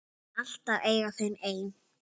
Mun alltaf eiga þau ein.